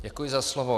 Děkuji za slovo.